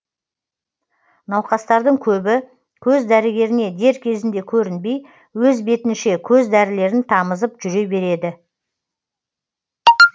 науқастардың көбі көз дәрігеріне дер кезінде көрінбей өз бетінше көз дәрілерін тамызып жүре береді